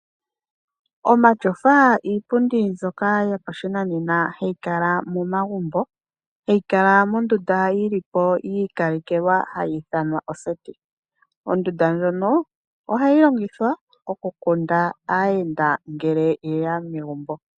Omatyofa iipundi mbyoka yopa shinanena hayi kala moma gumbo, hayi kala mondunda yilipo yi ikalekelwa hayi ithanwa oseti. Ondunda ndjono ohayi longithwa oku kunda aayenda ngele yeya megumbo.